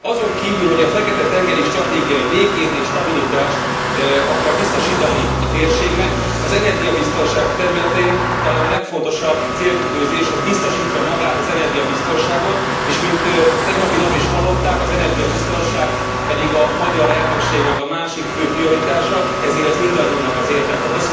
Azon kívül, hogy a fekete tengeri stratégia békét és stabilitást akar biztosítani a térségnek, az energiabiztonság területén talán a legfontosabb célkitűzés, hogy biztosítsa magát az energiabiztonságot, és mint tegnapi nap is hallották, az energiabiztonság pedig a magyar elnökségnek a másik fő prioritása, ezért ez mindannyiunk érdeke.